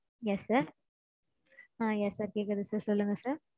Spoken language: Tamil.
Yes sir. Ah yes sir கேக்குது sir சொல்லுங்க sir.